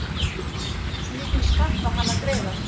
Hversu mikinn skatt á hann að greiða?